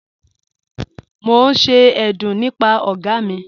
Mo n ṣe ẹ̀dún nípà ọ̀ga mi..